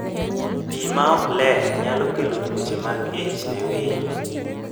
Pi ma ok ler nyalo kelo tuoche mag ich ne winy.